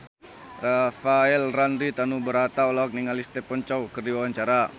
Rafael Landry Tanubrata olohok ningali Stephen Chow keur diwawancara